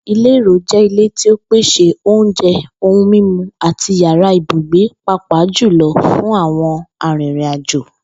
Ìlè èrò jé̩ ilé tí ó pèsè oúnje̩, ohun mímu àti yàrá ibùgbé pàápàá jù lo̩ fún àwo̩n arìnrìnàjò